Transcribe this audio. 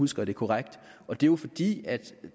husker det korrekt og det er jo fordi